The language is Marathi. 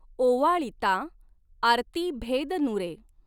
ऒवाळितां आरती भॆद नुरॆ.